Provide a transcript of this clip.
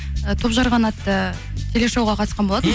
і топ жарған атты телешоуға қатысқан болатын